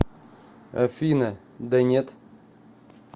афина да нет